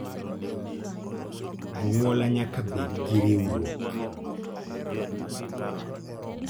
Anyuola nyaka bed gi riwruok